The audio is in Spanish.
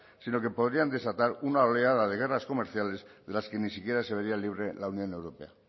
sino que podrían desatar una oleada de guerras comerciales de las que ni siquiera se vería libre la unión europea